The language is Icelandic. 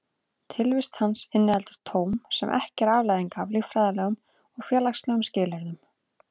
Tilvist hans inniheldur tóm sem ekki er afleiðing af líffræðilegum og félagslegum skilyrðum.